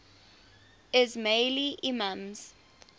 ismaili imams